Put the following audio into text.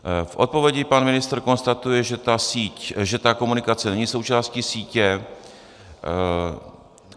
V odpovědi pan ministr konstatuje, že ta komunikace není součástí sítě.